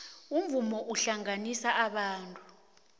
umvumo uhlanganisa abantu